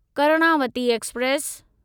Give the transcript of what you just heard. Karnavati express